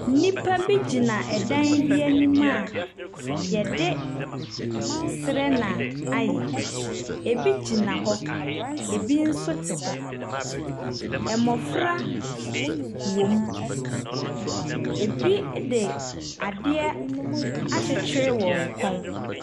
Nnipa bi gyina dan bi anim a wɔde serɛ na ayɛ. Ɛbi gyina hɔ, ɛbi nso te hɔ. mmɔfra wɔ mu. Ɛbi de adeɛ akyekyere wɔn kɔn.